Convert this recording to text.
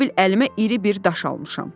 Elə bil əlimə iri bir daş almışam.